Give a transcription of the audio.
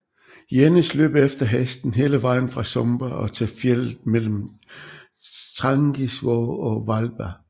Jenis løb efter hesten hele vejen fra Sumba og til fjeldet mellem Trangisvåg og Hvalba